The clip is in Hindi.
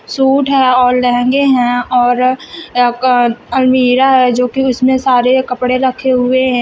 सूट है और लहंगे हैं और अ अलमीरा है जो कि उसमें सारे कपड़े रखे हुए हैं।